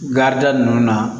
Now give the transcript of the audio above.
Garida ninnu na